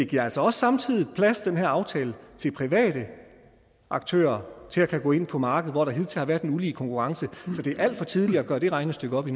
giver altså også samtidig plads til til private aktører til at kunne gå ind på markedet hvor der hidtil har været en ulige konkurrence så det er alt for tidligt at gøre det regnestykke op